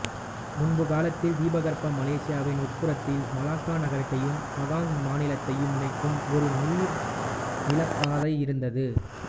முன்பு காலத்தில் தீபகற்ப மலேசியாவின் உட்புறத்தில் மலாக்கா நகரத்தையும் பகாங் மாநிலத்தையும் இணைக்கும் ஒரு நீர் நிலப் பாதை இருந்தது